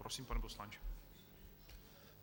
Prosím, pane poslanče.